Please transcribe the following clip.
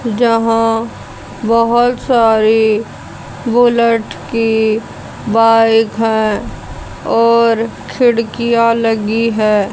यहां बहुत सारी बुलेट की बाइक हैं और खिड़कियां लगी है।